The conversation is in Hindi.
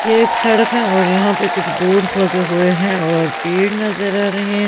ये एक सड़क है और यहां पे कुछ बोर्ड्स लगे हुए हैं और पेड़ नजर आ रही है--